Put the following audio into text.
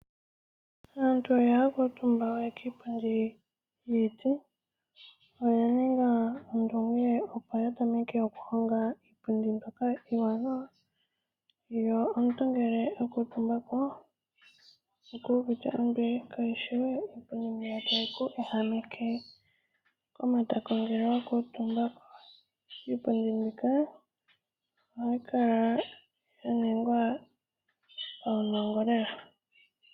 Aantu ihaya kuutumba we kiipundi yiiti. Oya ninga ondunge opo ya tameke okuhonga iipundi mbyoka iiwaanawa. Ngele omuntu a kuutumba oku uvite ombili, kayi shi we mbyoka tayi ku ehameke kiikuutumbitho ngele wa kuutumba ko. Iipundi mbika ohayi kala ya ningwa nuunongo lela.